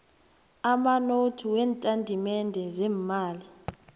amanothi weentatimende zeemali